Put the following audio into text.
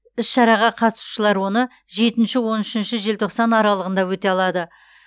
іс шараға қатысушылар оны жетінші он үшінші желтоқсан аралығында өте алады